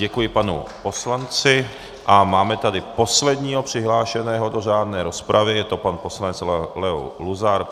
Děkuji panu poslanci a máme tady posledního přihlášeného do řádné rozpravy, je to pan poslanec Leo Luzar.